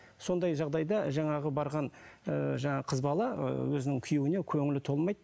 сондай жағдайда жаңағы барған ыыы жаңағы қыз бала ыыы өзінің күйеуіне көңілі толмайды